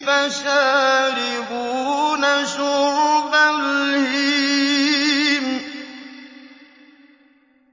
فَشَارِبُونَ شُرْبَ الْهِيمِ